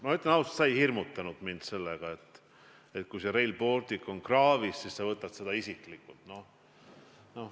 Ma ütlen ausalt: sa ei hirmutanud mind lausega, et kui Rail Baltic on kraavis, siis sa võtad seda isiklikult.